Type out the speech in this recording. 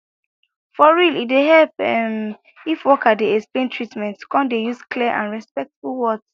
for real e dey help ehm if worker dey explain treatment come dey use clear and respectful words